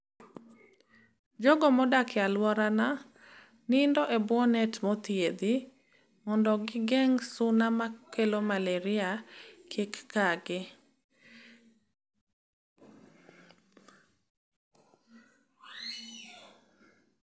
Jogo modak e aluorana nindo e bwo net mothiedhi mondo gingeng' suna makelo malaria kik kagi